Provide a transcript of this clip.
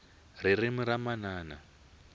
ririmi ra manana